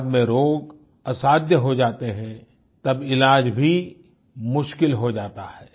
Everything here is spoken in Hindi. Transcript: बाद में रोग असाध्य हो जाते हैं तब इलाज भी मुश्किल हो जाता है